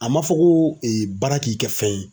A ma fɔ ko e baara k'i kɛ fɛn ye.